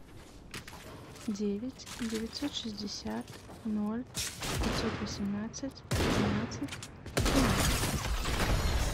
девять девятьсот шестьдесят ноль пятьсот восемнадцать тринадцать тринадцать